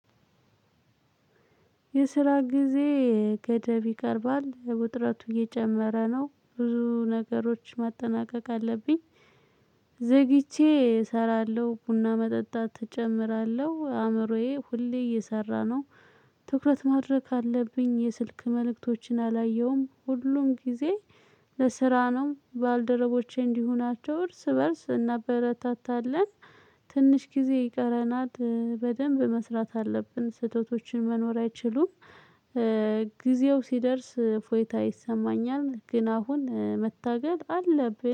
የስራ ጊዜ ገደብ ይቀርባል ውጥረቱ እየጨመረ ነው ብዙ ነገሮች ማጠናቀቅ አለብኝ። ዘግይቼ እሰራለሁ ቡና መጠጣት እጨምራለሁ አእምሮዬ ሁሌ እየሰራ ነው። ትኩረት ማድረግ ካለብኝ የስልክ መልእክቶችን አላየሁም ሁሉም ጊዜ። ለስራ ነው ባልደረቦቼ እንዲሆናቸው እርስ በእርስ እናበረታታለን። ትንሽ ጊዜ ይቀረናል በደንብ መስራት አለብን ስህተቶችን መኖር አይችሉም። ጊዜው ሲደርስ እፎይታ ይሰማኛል ግን አሁን መታገል አለብን